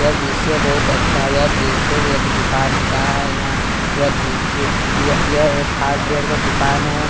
यह जिसे बहुत अच्छा है एक जेसे एक दुकान का है यहां यह यह एक हार्डवेयर का दुकान है।